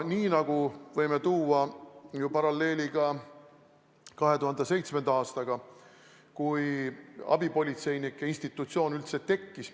Me võime praegu tuua paralleeli 2007. aastaga, kui abipolitseinike institutsioon meil üldse tekkis.